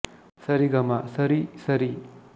ಸ ರಿ ಗ ಮ ಸ ರಿ ಸ ರಿ